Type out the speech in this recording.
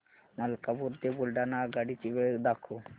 मलकापूर ते बुलढाणा आगगाडी ची वेळ दाखव